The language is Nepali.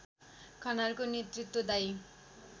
खनालको नेतृत्वदायी